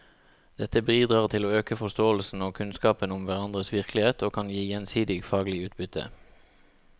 Dette bidrar til å øke forståelsen og kunnskapen om hverandres virkelighet og kan gi gjensidig faglig utbytte.